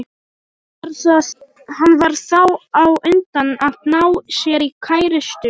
Hann varð þá á undan að ná sér í kærustu.